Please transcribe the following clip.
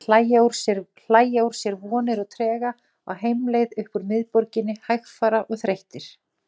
Hann var Þjóðverji, svaraði biskup.